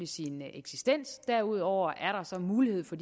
sin eksistens og derudover er der så mulighed for